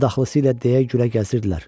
Adaxlısı ilə deyə gülə gəzirdilər.